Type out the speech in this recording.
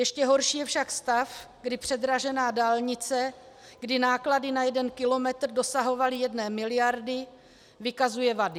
Ještě horší je však stav, kdy předražená dálnice, kdy náklady na jeden kilometr dosahovaly jedné miliardy, vykazuje vady.